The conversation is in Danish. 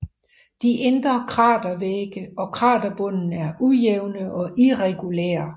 De indre kratervægge og kraterbunden er ujævne og irregulære